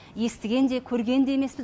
естіген де көрген де емеспін